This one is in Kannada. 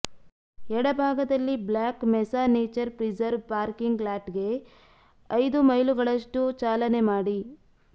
ಎಡಭಾಗದಲ್ಲಿ black mesa nature preserve parking ಲಾಟ್ಗೆ ಐದು ಮೈಲುಗಳಷ್ಟು ಚಾಲನೆ ಮಾಡಿ